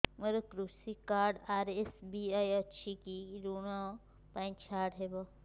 ମୋର କୃଷି card RSBY ଅଛି କି କି ଋଗ ପାଇଁ ଛାଡ଼ ହବ